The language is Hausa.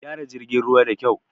Gyara jirgin ruwa da kyau!